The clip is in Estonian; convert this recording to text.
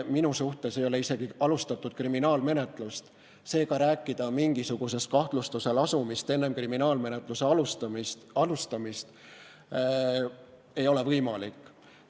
Minu suhtes ei ole isegi kriminaalmenetlust alustatud, seega rääkida mingisugusest kahtlustuse lasumisest enne kriminaalmenetluse alustamist ei ole võimalik.